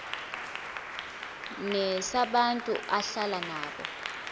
nesabantu ahlala nabo